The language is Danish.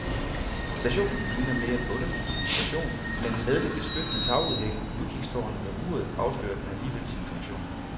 Stationen ligner mere et bondehus end en station, men med det beskyttende tagudhæng, udkigstårnet og uret afslører den alligevel sin funktion.